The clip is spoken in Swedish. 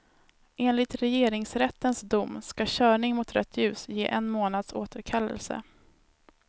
Enligt regeringsrättens dom ska körning mot rött ljus ge en månads återkallelse.